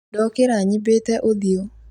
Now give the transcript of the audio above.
Ndokora nyimbĩte ũthiũ